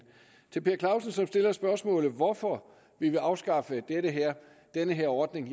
til herre per clausen som stiller spørgsmålet hvorfor vi vil afskaffe denne ordning